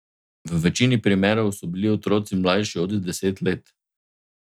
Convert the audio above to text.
V večini primerov so bili otroci mlajši od deset let.